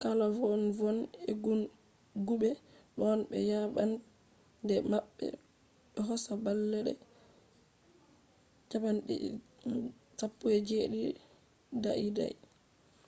kala vonne-vonne eggu'egguɓe ɗon be yabande maɓɓe do hosa balɗe 17 dai-dai